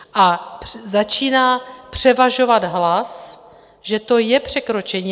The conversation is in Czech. A začíná převažovat hlas, že to je překročení.